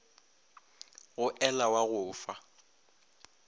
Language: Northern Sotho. go ela wa go fa